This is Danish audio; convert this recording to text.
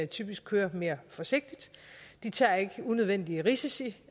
typisk kører mere forsigtigt de tager ikke unødvendige risici